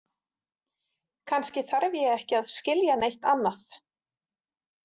Kannski þarf ég ekki að skilja neitt annað.